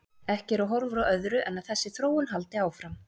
Ekki eru horfur á öðru en að þessi þróun haldi áfram.